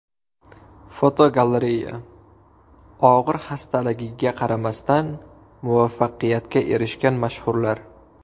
Fotogalereya: Og‘ir xastaligiga qaramasdan, muvaffaqiyatga erishgan mashhurlar.